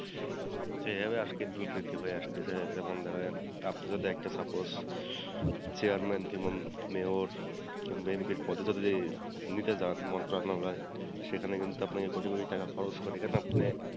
যেভাবে আজকের দূর্নীতি ভাই আসতেছে যেমন দেখেন আপনি যদি একটা suppose chairman mayor কিংবা MP এর পদে যদি নিতে জান মন্ত্রণালয়ে সেখানে কিন্তু আপনাকে কোটি কোটি টাকা খরচ করে কিন্তু আপনি,